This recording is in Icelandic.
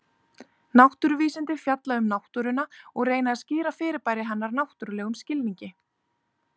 Náttúruvísindi fjalla um náttúruna og reyna að skýra fyrirbæri hennar náttúrlegum skilningi.